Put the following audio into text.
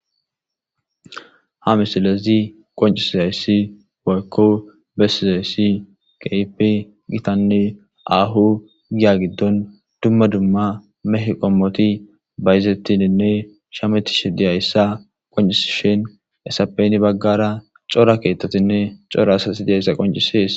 ha misilezi qoncisi zayssi woykko besizayssi keypi gitanne ahu giya giddon dumma dumma meh qommoti bayzettininne shametishi diyayssa qoncisi shin esapeyni baggara cora keettotinne cora asasi diyayssa qoncisees